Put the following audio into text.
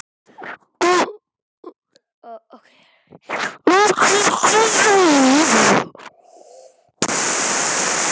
Tómas tók síðan til við að spyrja hraðmæltur um Margréti.